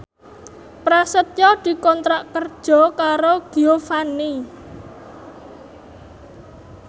Prasetyo dikontrak kerja karo Giovanni